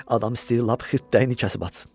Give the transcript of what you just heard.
Adam istəyir lap xirtdəyini kəsib atsın.